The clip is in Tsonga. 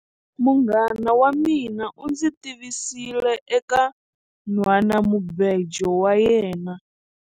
Munghana wa mina u ndzi tivisile eka nhwanamubejo wa yena.